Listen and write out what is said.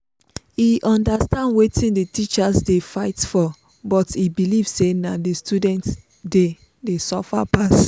e understand wetin the teachers dey fight for but e believe say na the students dey dey suffer pass.